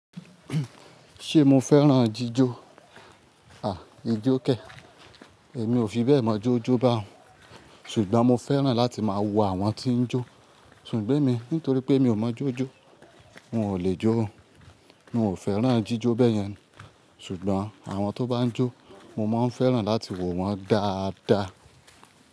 Ṣé mo fẹ́ràn jíjó? Àí, ijó kè. Èmi ò fi bẹ́ẹ̀ mọ jó jó báun, ṣùgbọ́n mo fẹ́ràn láti máa wo àwọn tí ń jó. Ṣùgbọ́n èmi nítorí pé mi ò mọ jó jó, n ò lè jó. N ò fẹ́ràn jíjó bẹ́yẹn, ṣùgbọ́n àwọn tó bá ń jó, mo máa ń fẹ́ràn láti wo wọn dáadáa.